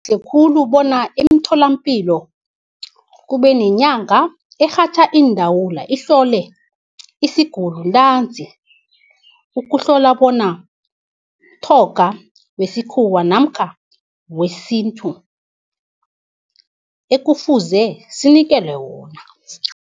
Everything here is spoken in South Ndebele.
Kungaba kuhle khulu bona imitholampilo kube nenyanga erhatjha iindawula ihlole isigulu ntanzi, ukuhlola bona umtjhoga wesikhuwa namkha wesintu ekufuze sinikelwe wona.